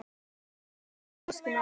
Þetta er alveg óskiljanlegt.